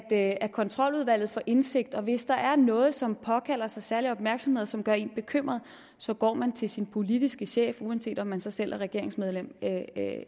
det at kontroludvalget får indsigt og hvis der er noget som påkalder sig særlig opmærksomhed og som gør en bekymret så går man til sin politiske chef uanset om man så selv er regeringsmedlem